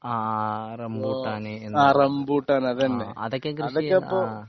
ആ റംബൂട്ടാന് അതൊക്കെ കൃഷി ആ